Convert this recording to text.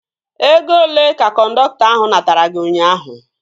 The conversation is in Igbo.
Ego olee ka kọndọktọ ahu natara gị ụnyaahụ?